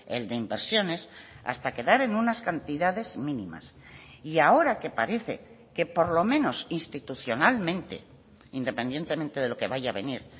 el de inversiones hasta quedar en unas cantidades mínimas y ahora que parece que por lo menos institucionalmente independientemente de lo que vaya a venir